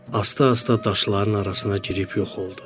Asta-asta daşların arasına girib yox oldu.